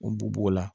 O b'o la